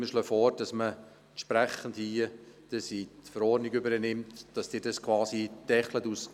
Wir schlagen vor, diese in die Verordnung zu übernehmen und dass Sie als Grosser Rat quasi eine Deckelung vornehmen.